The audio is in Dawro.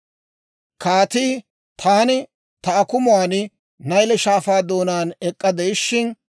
Kaatii, «Taani ta akumuwaan Nayle Shaafaa doonaan ek'k'a de'ishin,